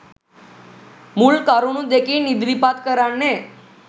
මුල් කරුණු දෙකින් ඉදිරිපත් කරන්නේ